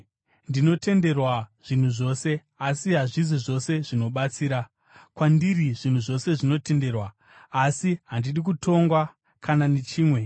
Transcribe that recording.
Ndinotenderwa zvinhu zvose, asi hazvisi zvose zvinobatsira. Kwandiri zvinhu zvose zvinotenderwa, asi handidi kutongwa kana nechimwe.